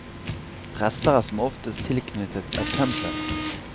Prester er som oftest tilknyttet et tempel.